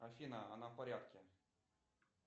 афина она в порядке